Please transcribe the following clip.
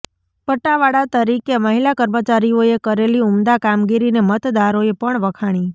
પટ્ટાવાળા તરીકે મહિલા કર્મચારીઓએ કરેલી ઉમદા કામગીરીને મતદારોએ પણ વખાણી